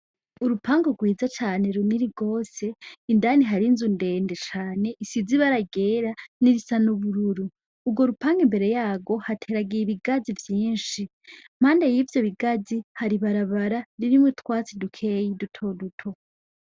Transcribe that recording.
Urupangu rwiza cane runini gose, indani hari inzu ndende cane isize ibara ryera n'irisa n'ubururu. Urwo rupangu imbere yarwo hateye ibigazi vyinshi, impande y'ivyo bigazi hari ibarabara ririmwo utwatsi dukeyi dutoduto.